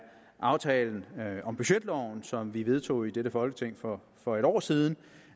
aftalen om budgetloven som vi vedtog i dette folketing for for en år siden